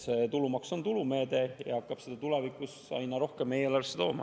See tulumaks on tulumeede, mis tulevikus hakkab aina rohkem eelarvesse tooma.